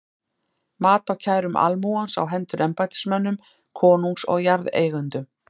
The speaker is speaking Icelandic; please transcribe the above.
Mat á kærum almúgans á hendur embættismönnum konungs og jarðeigendum.